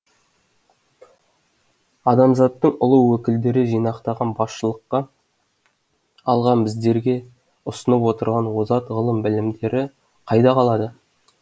адамзаттың ұлы өкілдері жинақтаған басшылыққа алған біздерге ұсынып отырған озат ғылым білімдері қайда қалады